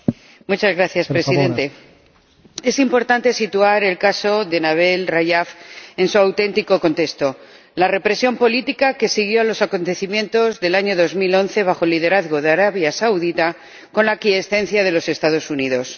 Señor Presidente, es importante situar el caso de Nabil Rajab en su auténtico contexto la represión política que siguió a los acontecimientos del año 2011 bajo el liderazgo de Arabia Saudí, con la aquiescencia de los Estados Unidos.